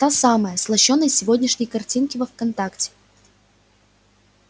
та самая с лощёной сегодняшней картинки во вконтакте